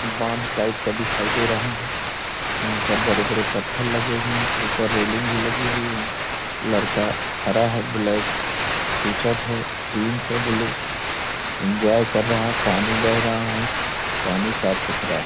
बांध टाईप का दिखाई दे रहा है यहाँ पर बड़े-बड़े पत्थर लगे हुए हैं ऊपर रेलिंग भी लगी हुई है लड़का खड़ा है ब्लैक टी-शर्ट है जिन्स है ब्लू इंजॉय कर रहे है पानी बह रहा है पानी साफ़-सुथरा है।